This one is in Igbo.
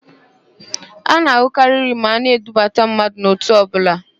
A na-an̄ụkarị íyí ma a na-eduba mmadụ n'òtù ọbụla.